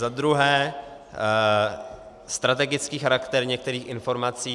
Za druhé, strategický charakter některých informací.